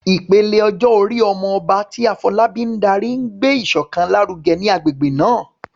Ìpele ọjọ́ orí "Omo Oba," tí Afolabi ń darí, ń gbé ìṣọ̀kan lárugẹ ní agbègbè náà.